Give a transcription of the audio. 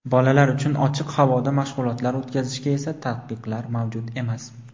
Bolalar uchun ochiq havoda mashg‘ulotlar o‘tkazishga esa taqiqlar mavjud emas.